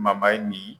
nin